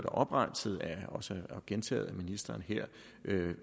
oprenset og også gentaget af ministeren her